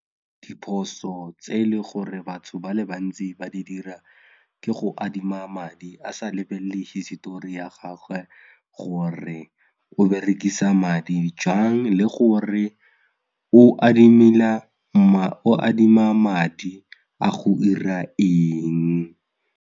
Diphoso tse e leng gore batho ba le bantsi ba di dira ke go adima madi a sa lebelele hisetori ya gagwe gore o berekisa madi jang le gore o o adima madi a go ira eng.